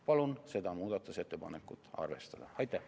Palun seda muudatusettepanekut arvestada!